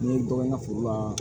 N ye dɔ kɛ n ka foro la